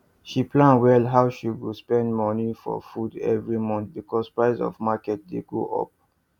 she plan well how she go spend money for food every month because price for market dey go up